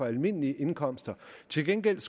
almindelige indkomster til gengæld